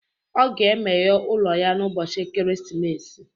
Ọ ga-emeghe ụlọ ya n'ụbọchị Ekeresimesi